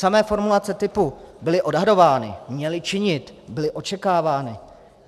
Samé formulace typu - byly odhadovány, měly činit, byly očekávány.